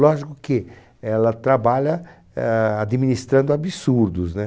Lógico que ela trabalha eah administrando absurdos.